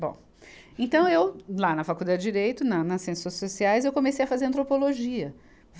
Bom, então eu, lá na Faculdade de Direito, na nas Ciências Sociais, eu comecei a fazer antropologia.